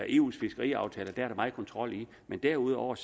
eu’s fiskeriaftaler hvor der er meget kontrol men derudover